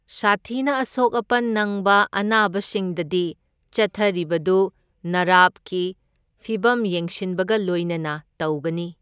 ꯁꯥꯊꯤꯅ ꯑꯁꯣꯛ ꯑꯄꯟ ꯅꯪꯕ ꯑꯅꯥꯕꯁꯤꯡꯗꯗꯤ, ꯆꯠꯊꯔꯤꯕꯗꯨ ꯅꯔꯚꯀꯤ ꯐꯤꯚꯝ ꯌꯦꯡꯁꯤꯟꯕꯒ ꯂꯣꯢꯅꯅ ꯇꯧꯒꯅꯤ꯫